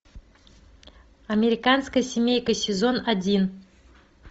американская семейка сезон один